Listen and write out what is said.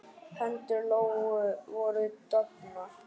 Hendur Lóu voru dofnar.